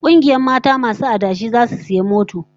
Kungiyar mata masu adashi zasu sayi mota